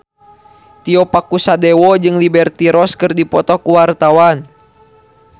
Tio Pakusadewo jeung Liberty Ross keur dipoto ku wartawan